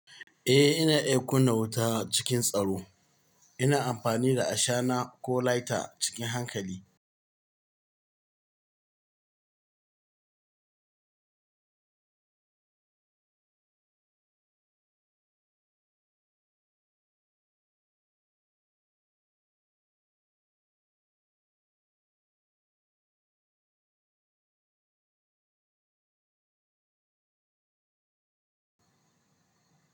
Eh ina iya kunna wuta cikin tsaro. Ina amfani da ashana ko lighter cikin hankali.